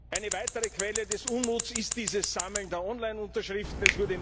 Eine weitere Quelle des Unmuts ist das Sammeln der Online Unterschriften.